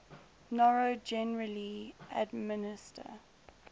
noro generally administer